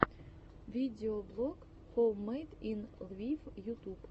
видеоблог хоуммэйд ин лвив ютуб